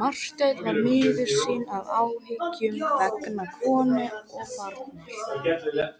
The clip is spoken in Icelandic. Og hún var ein þegar hún